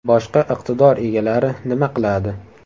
Boshqa iqtidor egalari nima qiladi?